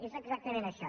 és exactament això